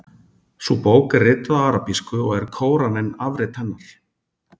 Sú bók er rituð á arabísku og er Kóraninn afrit hennar.